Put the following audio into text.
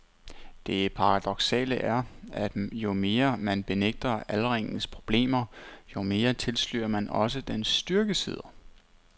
Det paradoksale er, at jo mere man benægter aldringens problemer, jo mere tilslører man også dens styrkesider.